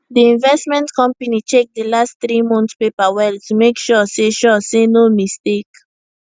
d investment company check d last three month paper well to make sure say sure say no mistake